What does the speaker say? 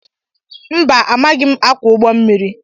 Mba amaghim akwo ụgbọ mmiri